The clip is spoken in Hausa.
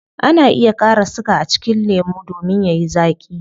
Ana iya kara siga a cikin lemu domin yayi zaaki